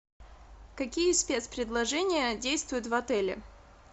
какие спецпредложения действуют в отеле